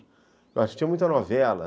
Eu muita novela.